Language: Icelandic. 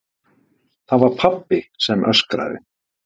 Það var pabbi sem öskraði.